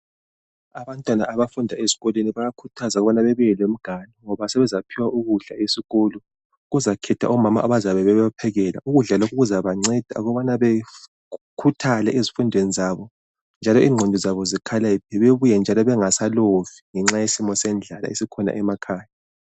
abantwana abafundwa esikolweni bayakhuthazwa ukubana bebuye lemiganu ngoba sebezaphiwa ukudla esikolo kuzokhethwa omama abazabe bebaphekela ukudla lokho kuzabanceda ukubana bekhuthale ezifundweni zabo njalo ingqondo zabo zikhaliphe bebuye njalo bengasalovi ngenxa yesimo sendlala esesikhona emakhaya